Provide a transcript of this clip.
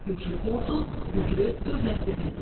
Güclü ordu, güclü dövlət deməkdir.